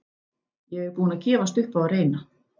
Ég er búinn að gefast upp á að reyna